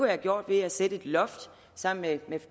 været gjort ved at sætte et loft sammen med